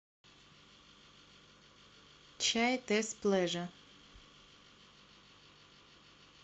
чай тесс плеже